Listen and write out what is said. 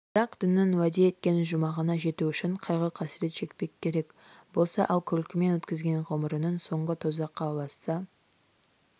бірақ діннің уәде еткен жұмағына жету үшін қайғы-қасірет шекпек керек болса ал күлкімен өткізген ғұмырыңның соңы тозаққа ұласса